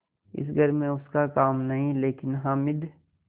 इस घर में उसका काम नहीं लेकिन हामिद